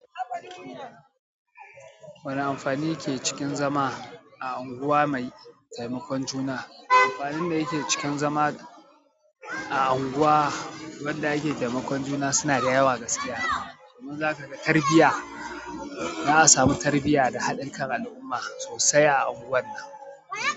Wane amfani ke cikin zama a unguwa mai taimakon juna? Amfanin da yake cikin zama a unguwa wadda ake taimakon juna suna da yawa gaskiya. Kaman zakaga, tarbiyya, za'a samu tarbiyya da haɗikan al'umma sosai a unguwar nan.